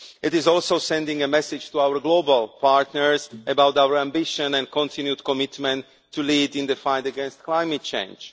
It is also sending a message to our global partners about our ambition and continued commitment to lead in the fight against climate change.